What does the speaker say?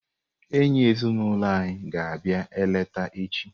Enyi ezinulo anyi ga abịa eleta echi.